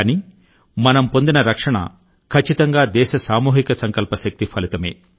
కానీ మనం పొందిన రక్షణ ఖచ్చితంగా దేశ సామూహిక సంకల్ప శక్తి ఫలితమే